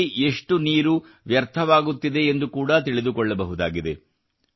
ಎಲ್ಲಿ ಎಷ್ಟು ನೀರು ವ್ಯರ್ಥವಾಗುತ್ತಿದೆ ಎಂದು ಕೂಡಾ ತಿಳಿದುಕೊಳ್ಳಬಹುದಾಗಿದೆ